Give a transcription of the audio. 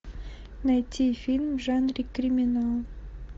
найти фильм в жанре криминал